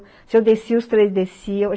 Se eu descia, os três desciam.